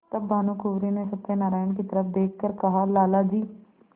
तब भानुकुँवरि ने सत्यनारायण की तरफ देख कर कहालाला जी